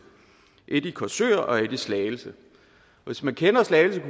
et i korsør og et i slagelse hvis man kender slagelse